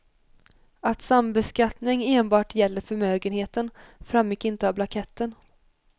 Att sambeskattning enbart gäller förmögenheten framgick inte av blanketten.